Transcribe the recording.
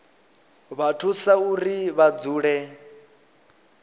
vha thusa uri vha dzule